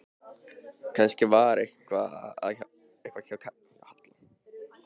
Kannski var eitthvað að hjá Halla.